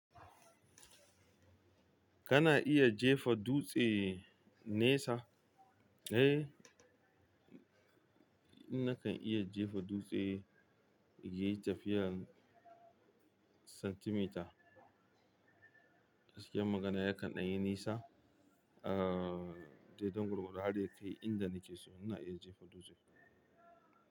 Kana iya jefa dutse nesa? Eh, nakan iya jefa dutse yayi tafiyar santimita. Gaskiyan magana ya kan ɗan yi nisa, aa, daidan gwargwado, har da ya kai inda nake so, ina iya jefa dutse.